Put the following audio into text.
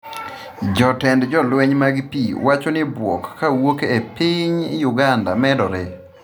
Jatend jolweny mag pii wacho ni bwok kowuok e piny Uganda medore